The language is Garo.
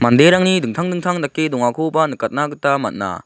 derangni dingtang dingtang dake dongakoba nikatna gita man·a.